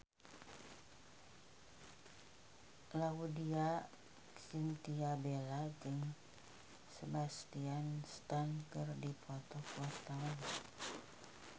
Laudya Chintya Bella jeung Sebastian Stan keur dipoto ku wartawan